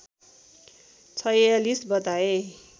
४६ बताए